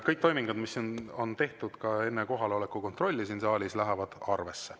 Kõik toimingud, mis on tehtud enne kohaloleku kontrolli siin saalis, lähevad ka arvesse.